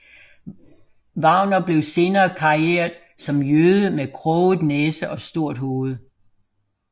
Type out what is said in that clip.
Wagner blev senere karikeret som en jøde med kroget næse og stort hoved